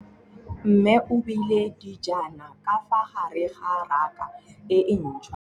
Mmê o beile dijana ka fa gare ga raka e ntšha.